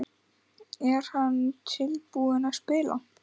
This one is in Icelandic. Er hann tilbúinn að spila?